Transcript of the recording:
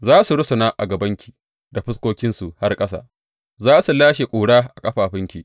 Za su rusuna a gabanki da fuskokinsu har ƙasa; za su lashe ƙura a ƙafafunki.